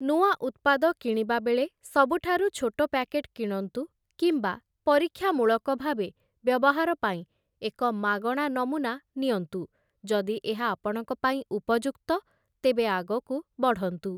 ନୂଆ ଉତ୍ପାଦ କିଣିବାବେଳେ ସବୁଠାରୁ ଛୋଟ ପ୍ୟାକେଟ୍ କିଣନ୍ତୁ କିମ୍ବା ପରୀକ୍ଷାମୂଳକ ଭାବେ ବ୍ୟବହାର ପାଇଁ ଏକ ମାଗଣା ନମୁନା ନିଅନ୍ତୁ, ଯଦି ଏହା ଆପଣଙ୍କ ପାଇଁ ଉପଯୁକ୍ତ, ତେବେ ଆଗକୁ ବଢ଼ନ୍ତୁ ।